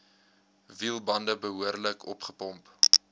wielbande behoorlik opgepomp